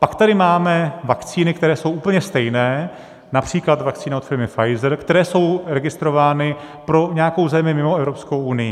Pak tady máme vakcíny, které jsou úplně stejné, například vakcína od firmy Pfizer, které jsou registrovány pro nějakou zemi mimo Evropskou unii.